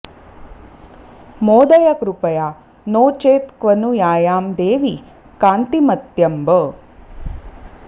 मोदय कृपया नो चेत्क्व नु यायां देवि कान्तिमत्यम्ब